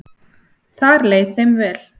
Þar leið þeim vel.